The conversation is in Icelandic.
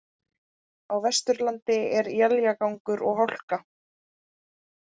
Á Vesturlandi er éljagangur og hálka